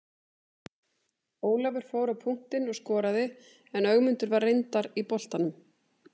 Ólafur fór á punktinn og skoraði en Ögmundur var reyndar í boltanum.